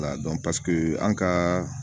La an ka